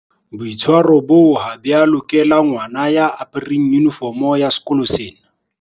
Boitshwaro boo ha bo a lokela ngwana ya apereng yunifomo ya sekolo sena.